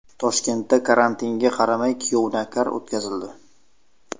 Toshkentda karantinga qaramay kuyov-navkar o‘tkazildi.